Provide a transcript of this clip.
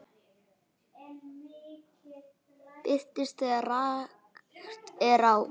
Birtist þegar rakt er á.